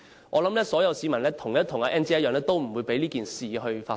我想所有市民跟 Ann 姐一樣，不會讓這件事發生。